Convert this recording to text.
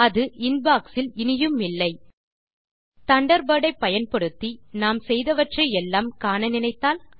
அது இன்பாக்ஸ் இல் இனியுமில்லை தண்டர்பர்ட் ஐ பயன்படுத்தி நாம் செய்தவற்றை எல்லாம் காண நினைத்தால்